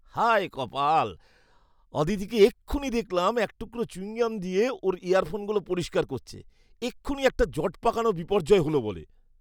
হায় কপাল! অদিতিকে এক্ষুণি দেখলাম একটুকরো চুয়িংগাম দিয়ে ওর ইয়ারফোনগুলো পরিষ্কার করছে। এক্ষুণি একটা জটপাকানো বিপর্যয় হলো বলে!